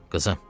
Qızım.